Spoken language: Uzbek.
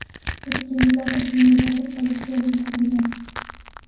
O‘tkinchilar o‘smirni topib politsiyani chaqirgan.